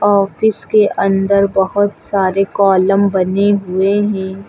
Office के अन्दर बहोत सारे कॉलम बने हुए है।